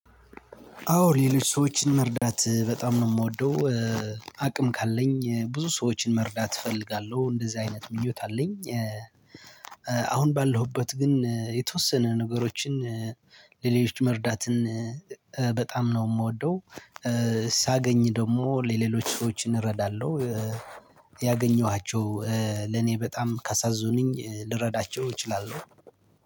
አዎ ሌሎች ሰዎችን መርዳት በጣም ነው ምወደው። አቅም ካለኝ ብዙ ሰዎችን መርዳት እፈልጋለሁ እንደዚህ አይነት ምኞት አለኝ። አሁን ባለሁበት ግን የተወሰነ ነገሮችን ለሌሎች መርዳትን በጣም ነው ምወደው። ሳገኝ ደግሞ ለሌሎች ሰዎችን እረዳለሁ። ያገኘኋቸው ለኔ በጣም ካሳዘኑኝ ልረዳቸው እችላለሁ።